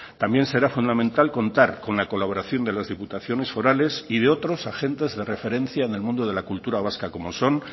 también será fundamental contar con la colaboración de las diputaciones forales y de otros agentes de referencia en el mundo de la cultura vasca como son